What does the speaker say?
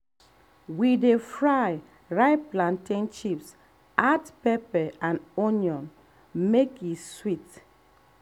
we dey fry ripe plantain chip add pepper and onion make e sweet.